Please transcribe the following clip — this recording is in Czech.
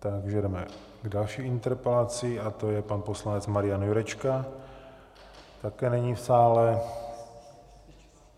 Takže jedeme k další interpelaci a to je pan poslanec Marian Jurečka - také není v sále.